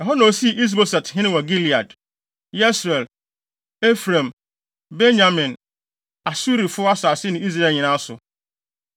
Ɛhɔ na osii Is-Boset hene wɔ Gilead, Yesreel, Efraim, Benyamin, Asurifo + 2.9 Asuri yɛ Aser abusuakuw mu nnipa. asase ne Israel nyinaa so.